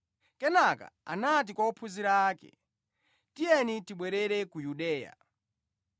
Kenaka anati kwa ophunzira ake, “Tiyeni tibwerere ku Yudeya.”